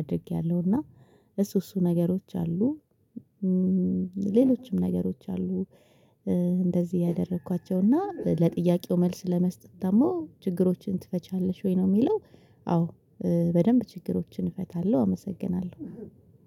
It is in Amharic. አድርጌያለሁና እሱ እሱ ነገሮች አሉ ሌሎችም ነገሮች አሉ እንደዚህ ያደረኳቸውና ለጥያቄው መልስ ለመስጠት ደግሞ ችግሮችን ትፈቻለሽ ወይ ነው የሚለው አዎ በደንብ ችግሮችን እፈታለሁ አመሰግናለሁ።